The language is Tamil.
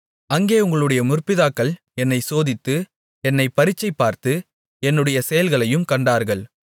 அங்கே உங்களுடைய முற்பிதாக்கள் என்னைச் சோதித்து என்னைப் பரீட்சை பார்த்து என்னுடைய செயல்களையும் கண்டார்கள்